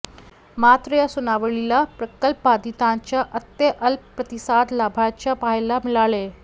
मात्र या सुनावणीला प्रकल्प बाधितांचा अत्य अल्प प्रतिसाद लाभल्याचे पाहायला मिळाले